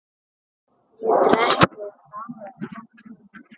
Þið drekkið báðir of mikið.